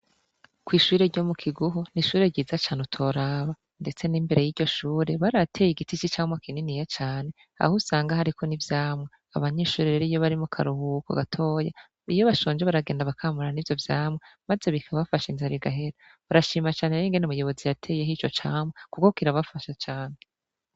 kw'ishure ryo mu Kiguhu n'ishure ryiza cane utoraba ndetse n'imbere y'iryo shure barahateye igiti c'icamwa kininiya cane aho usanga hariko n'ivyamwa, abanyeshure rero iyo bari mu karuhuko batoya iyo bashonje baragenda bakamura n'ivyo vyamwa maze bikabafasha inzara igahera, barashima cane rero ingene umuyobozi yateyeho ico camwa kuko kirabasha cane.